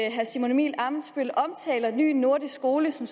at herre simon emil ammitzbøll omtaler ny nordisk skole som